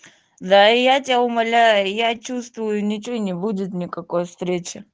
да и я тебя умоляю я чувствую ничего не будет никакой встречи